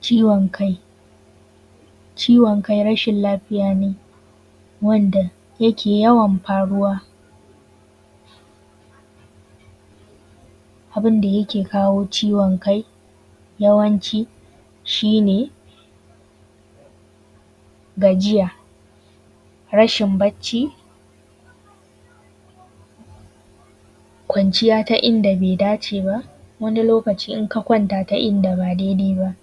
Ciwon kai. Ciwon kai rashin lafiya ne wanda yake yawan faruwa. Abunda yake kawo ciwon kai yawanci shine gajiya, rashin bacci, kwanciya ta inda bai da ce ba. Wani lokaci in ka kwanta ta inda ba dai dai ba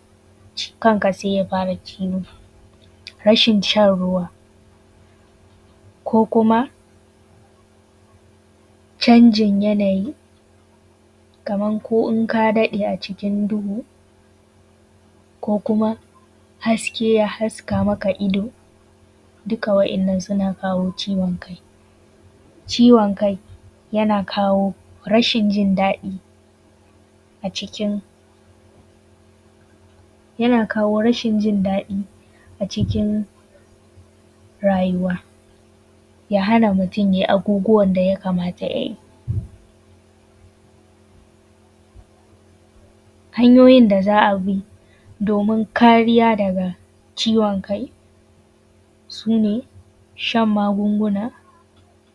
kan ka sai ya fara ciwo. Rashin shan ruwa ko kuma canjin yanayi kaman ko inka daɗe a cikin duhu ko kuma haske ya haska maka ido duka wa'innan suna kawo ciwon kai. Ciwon kai yana kawo rashin jindaɗi a cikin rayuwa, ya hana mutum yai abubuwan da ya kamata yayi. Hanyoyin da za a bi domin kariya daga ciwon kai, su ne shan magunguna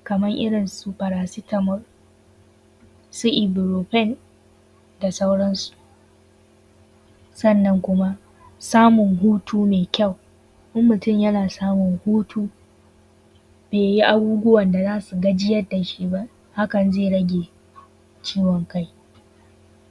kaman irinsu paracetamol, su ibuprofen da sauransu. Sannan kuma samun hutu mai kyau. In mutum yana samun hutu bai yin abubuwan da za su gajiyar da shi ba, hakan zai rage ciwon kai,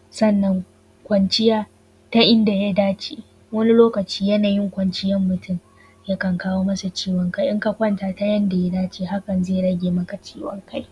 sannan kuma kwanciya ta inda ya dace wani lokaci yanayin kwanciyar mutum yakan kawo masa ciwon kai. In ka kwanta ta yadda ya dace hakan zai rage maka ciwon kai